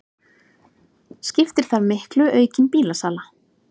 Skiptir þar miklu aukin bílasala